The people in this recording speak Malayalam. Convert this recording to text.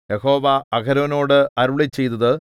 യഹോവ അഹരോനോട് അരുളിച്ചെയ്തത്